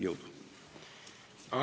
Jõudu!